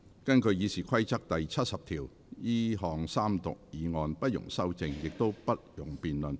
根據《議事規則》第70條，這項三讀議案不容修正，亦不容辯論。